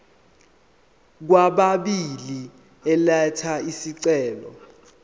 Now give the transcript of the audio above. kwababili elatha isicelo